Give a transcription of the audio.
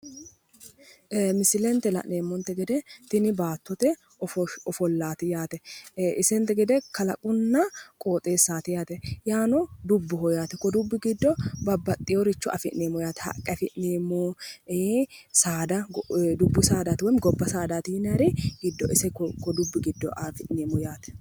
Misile la'neemmonte gede tini baattote ofollaati isente gede kalaqqunna qooxeessaati yaate woy dubboho yaate. Dubbu giddo afi'neemmohu haqqe dubbu saada afi'neemmo yaate